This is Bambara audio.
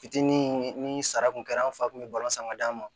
Fitinin ni sara kun kɛra an fa kun bɛ balon san ka d'a ma